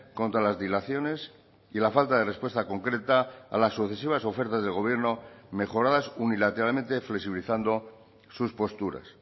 contra las dilaciones y la falta de respuesta concreta a las sucesivas ofertas del gobierno mejoradas unilateralmente flexibilizando sus posturas